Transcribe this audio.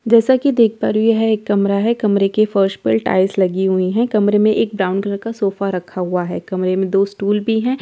जैसा कि देख पा रही है यह एक कमरा है कमरे की फर्श पर टाइल्स लगी हुई है कमरे में एक ब्राउन कलर का सोफा रखा हुआ है कमरे में दो स्टूल भी है ।